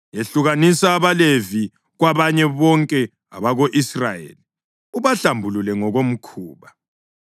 “Yahlukanisa abaLevi kwabanye bonke abako-Israyeli ubahlambulule ngokomkhuba.